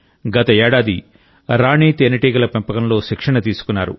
గత ఏడాది రాణి తేనెటీగ పెంపకంలో శిక్షణ తీసుకున్నారు